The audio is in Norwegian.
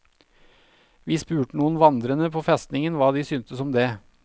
Vi spurte noen vandrende på festningen hva de syntes om det.